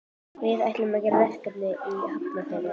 Við ætlum að gera verkefni í Hafnarfirði.